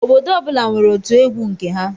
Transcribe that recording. Obodo ọbula nwèrè ótụ egwu nke ha.